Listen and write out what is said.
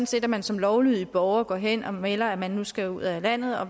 set at man som lovlydig borger går hen og melder at man nu skal ud af landet og